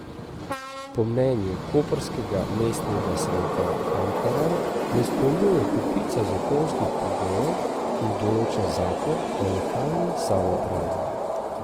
Po mnenju koprskega mestnega sveta Ankaran ne izpolnjuje kopice zakonskih pogojev, ki jih določa zakon o lokalni samoupravi.